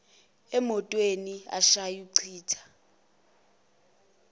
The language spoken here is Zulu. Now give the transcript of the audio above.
emotweni ashaya achitha